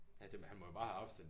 Ja det han må jo bare have haft en